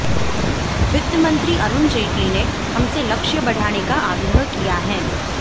वित्त मंत्री अरुण जेटली ने हमसे लक्ष्य बढ़ाने का आग्रह किया है